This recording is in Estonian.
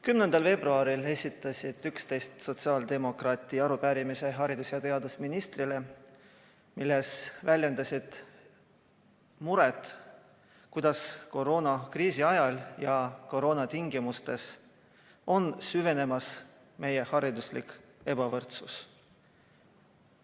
10. veebruaril esitasid 11 sotsiaaldemokraati arupärimise haridus- ja teadusministrile, milles väljendasid muret, kuidas koroonakriisi ajal ja koroona tingimustes on süvenemas meie hariduslik ebavõrdsus.